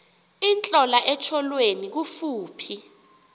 intlola etyholweni kufuphi